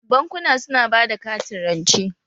Bankuna su na bada katin rance.